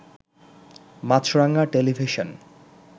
Maasranga television